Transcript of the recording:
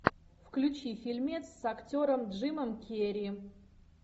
включи фильмец с актером джимом керри